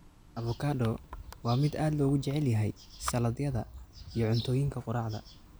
Avocado waa mid aad loogu jecel yahay saladhyada iyo cuntooyinka quraacda.